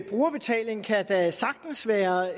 brugerbetaling